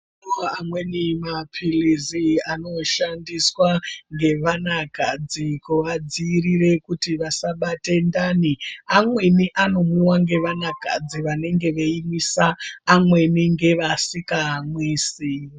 Amweni mapilizi anoshandiswa ngevana kadzi kuvadzivirira kuti vasabate ndani amweni anomwiwa ngevana kadzi vanenge veimwisa amweni ngevasikamwisi.